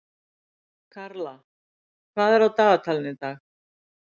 Karla, hvað er á dagatalinu í dag?